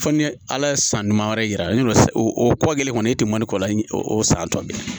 Fo ni ala ye san ɲuman wɛrɛ yira ne la o kɔ kelen kɔni e tɛ mɔni kɔ la o san tɔ bɛ